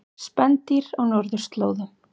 Spendýr á norðurslóðum.